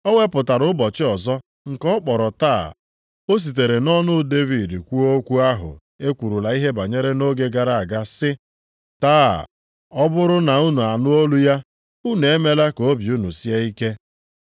O wepụtara ụbọchị ọzọ nke ọ kpọrọ Taa, o sitere nʼọnụ Devid kwuo okwu ahụ e kwurula ihe banyere nʼoge gara aga sị, “Taa, ọ bụrụ na unu anụ olu ya, unu emela ka obi unu sie ike.” + 4:7 \+xt Abụ 95:7,8\+xt*